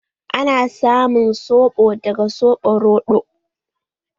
Ana samun soɓo daga soɓo roɗo.